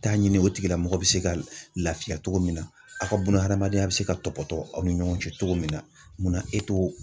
Taa ɲini o tigilamɔgɔ bɛ se ka lafiya cogo min na ,aw ka bun adamadenya bɛ se ka tɔbɔtɔ aw ni ɲɔgɔn cɛ cogo min na, munna e t'o